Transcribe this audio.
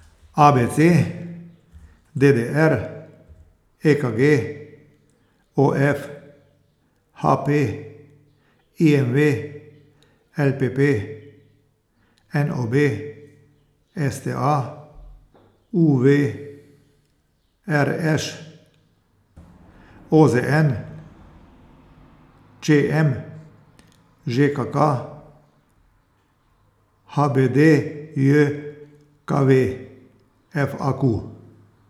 A B C; D D R; E K G; O F; H P; I M V; L P P; N O B; S T A; U V; R Š; O Z N; Č M; Ž K K; H B D J K V; F A Q.